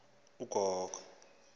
ne mbacu azishiya